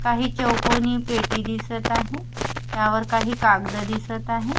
काही चौकोनी पेटी दिसत आहे त्यावर काही कागदं दिसत आहे.